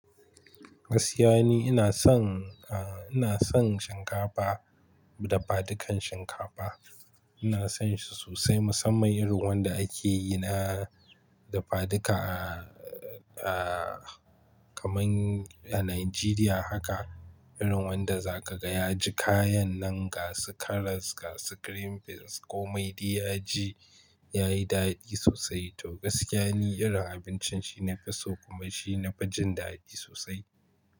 Gaskiya ne ina son, a, ina son shinkafa dafadukan shinkafa. Ina son shi sosai musamman irin wanda ake yin na dafaduka, a, a, kaman a Najeriya haka. Irin wanda za ka gan ya ji kayan nan gasu karas, gasu green beans kome dai ya ji yayi daɗi sosai. To gaskiya ni irin abincin shi nafi so kuma shi na fa jin daɗi sosai.